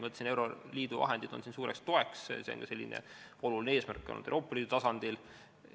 Ma ütlesin, et euroliidu vahendid on siin suureks toeks, see on olnud oluline eesmärk ka Euroopa Liidu tasandil.